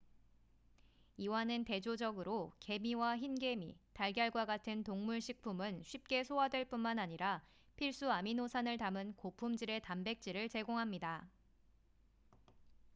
이와는 대조적으로 개미와 흰개미 달걀과 같은 동물 식품은 쉽게 소화될 뿐만 아니라 필수 아미노산을 담은 고품질의 단백질을 제공합니다